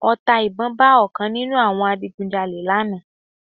Ọta ìbọn ba ọ̀kan nínú àwọn adigun jalè lánàá